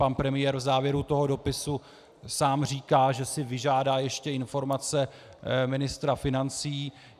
Pan premiér v závěru toho dopisu sám říká, že si vyžádá ještě informace ministra financí.